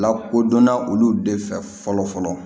Lakodɔnna olu de fɛ fɔlɔ fɔlɔ